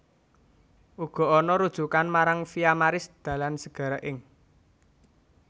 Uga ana rujukan marang Via Maris dalan segara ing